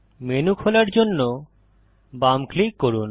menu খোলার জন্য বাম ক্লিক করুন